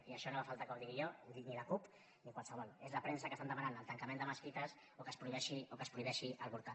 i això no fa falta que ho digui jo que ho digui la cup ni qualsevol és la premsa que està demanant el tancament de mesquites o que es prohibeixi avortar